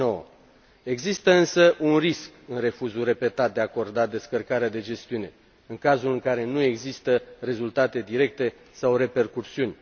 2009. Există însă un risc în refuzul repetat de a acorda descărcarea de gestiune în cazul în care nu există rezultate directe sau repercusiuni.